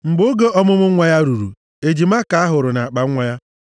Mgbe oge ọmụmụ nwa ya ruru, ejima ka ahụrụ nʼakpanwa ya.